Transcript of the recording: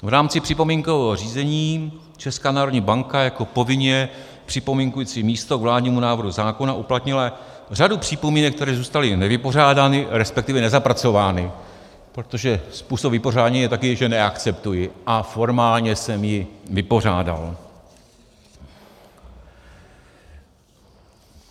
V rámci připomínkového řízení Česká národní banka jako povinně připomínkující místo k vládnímu návrhu zákona uplatnila řadu připomínek, které zůstaly nevypořádány, respektive nezapracovány, protože způsob vypořádání je takový, že neakceptuji a formálně jsem ji vypořádal.